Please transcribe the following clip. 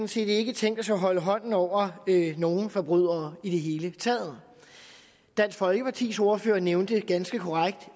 set ikke tænkt os at holde hånden over nogen forbrydere i det hele taget dansk folkepartis ordfører nævnte ganske korrekt